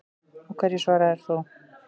Og hverju svaraðir þú?